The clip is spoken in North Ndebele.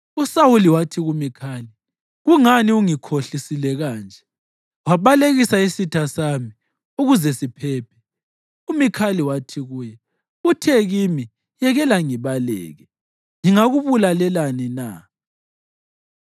USawuli wathi kuMikhali, “Kungani ungikhohlise kanje wabalekisa isitha sami ukuze siphephe?” UMikhali wathi kuye, “Uthe kimi, ‘Yekela ngibaleke. Ngingakubulalelani na?’ ”